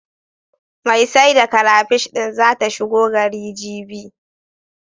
Mai sai da karafish din zata shigo gari, jibi.